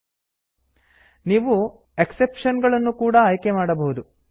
ನೀವು exception exception ಗಳನ್ನು ಕೂಡ ಆಯ್ಕೆ ಮಾಡಬಹುದು